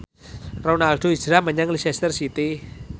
Ronaldo hijrah menyang Leicester City